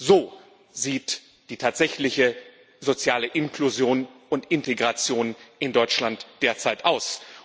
So sieht die tatsächliche soziale Inklusion und Integration in Deutschland derzeit aus.